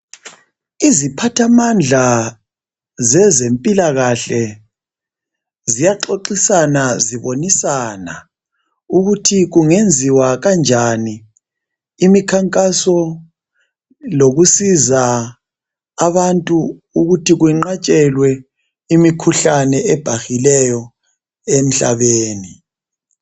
Iziphathamandla zezempilakahle ziyaxoxisana zibonisana ukuthi kungenziwa kanjani imikhankaso lokusiza abantu ukuthi kwenqatshelwe imikhuhlane ebhahileyo emhlabeni.